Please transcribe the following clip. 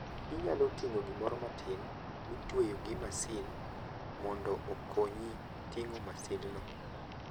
Inyalo ting'o gimoro matin mitweyo gi masin mondo okonyi ting'o masindno.